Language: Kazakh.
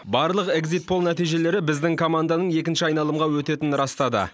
барлық экзит пол нәтижелері біздің команданың екінші айналымға өтетітін растады